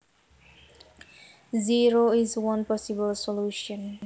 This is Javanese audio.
Zero is one possible solution